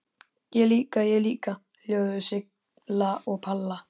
Ég líka, ég líka!!! hljóðuðu Silla og Palla.